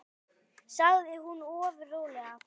sagði hún ofur rólega.